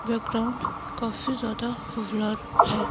Background काफी ज्यादा blur है।